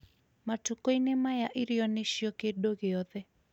Matukũ-inĩ maya, irio nĩcio kĩndũ gĩothe.